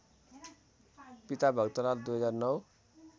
पिता भक्तलाल २००९